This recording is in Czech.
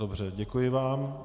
Dobře, děkuji vám.